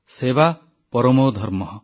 ସେବା ପରମୋ ଧର୍ମଃ